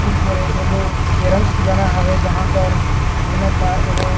ए हरे एगो कैरम खिलौना हवे जहाँ पर ए मन ल एगो--